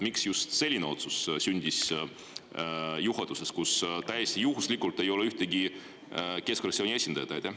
Miks sündis just selline otsus juhatuses, kus täiesti juhuslikult ei ole ühtegi keskfraktsiooni esindajat?